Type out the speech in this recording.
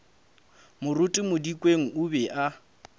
moruti modikeng o be a